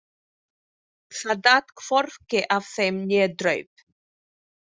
Það datt hvorki af þeim né draup.